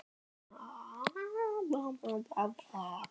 Þeir hjá efnahagsbrotadeildinni fóru yfir öll bankaviðskipti Sveinbjarnar.